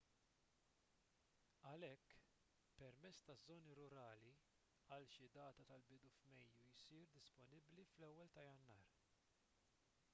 għalhekk permess taż-żoni rurali għal xi data tal-bidu f'mejju jsir disponibbli fl-1 ta' jannar